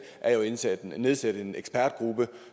nedsætte en ekspertgruppe